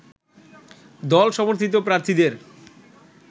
দলসমর্থিত প্রার্থীদের